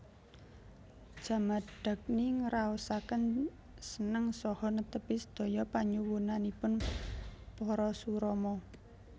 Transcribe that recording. Jamadagni ngraosaken seneng saha netepi sedaya panyuwunanipun Parasurama